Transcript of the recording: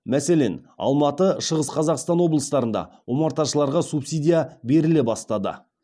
мәселен алматы шығыс қазақстан облыстарында омарташыларға субсидия беріле бастады